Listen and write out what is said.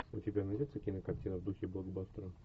у тебя найдется кинокартина в духе блокбастера